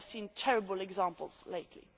We have seen terrible examples lately.